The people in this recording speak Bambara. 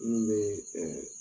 Munnu bee